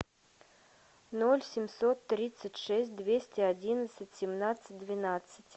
ноль семьсот тридцать шесть двести одиннадцать семнадцать двенадцать